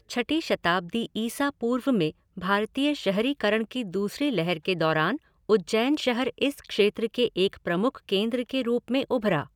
छठी शताब्दी ईसा पूर्व में भारतीय शहरीकरण की दूसरी लहर के दौरान उज्जैन शहर इस क्षेत्र के एक प्रमुख केंद्र के रूप में उभरा।